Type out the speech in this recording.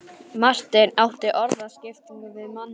Marteinn átti orðaskipti við manninn.